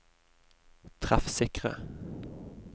treffsikre